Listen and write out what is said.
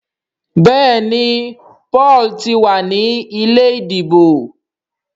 Béèni Paul tí wá ní ilé ìdìbò.